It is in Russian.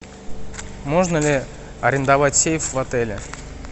можно ли арендовать сейф в отеле